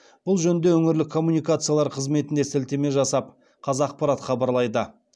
бұл жөнінде өңірлік коммуникациялар қызметіне сілтеме жасап қазақпарат хабарлайды